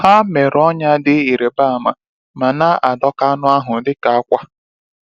Ha mere ọnyá dị ịrịba ama, ma na adọka anụ ahụ dịka akwa.